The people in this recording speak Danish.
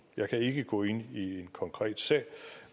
jeg kan ikke gå ind i en konkret sag